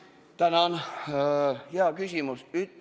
Tänan, hea küsimus!